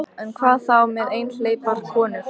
En hvað þá með einhleypar konur?